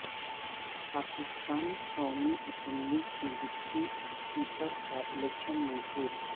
پاکستان قومی اسمبلی کے deputy speaker کا الیکشن منسوخ